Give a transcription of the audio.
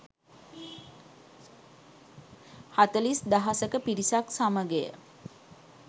හතළිස් දහසක පිරිසක් සමගය.